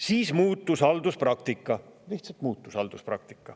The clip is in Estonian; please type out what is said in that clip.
Siis halduspraktika muutus – lihtsalt muutus!